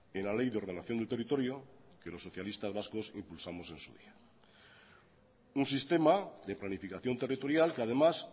en la ley de ordenación del territorio que los socialistas vascos impulsamos en su día un sistema de planificación territorial que además